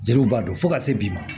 Jeliw b'a dɔn fo ka se bi ma